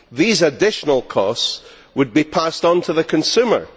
These additional costs would be passed on to the consumer.